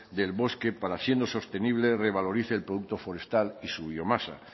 del bosque para siendo sostenible revalorice el producto forestal y su biomasa